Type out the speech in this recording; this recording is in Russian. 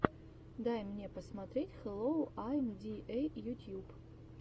дай мне посмотреть хэллоу айм ди эй ютьюб